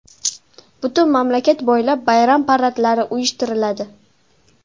Butun mamlakat bo‘ylab bayram paradlari uyushtiriladi.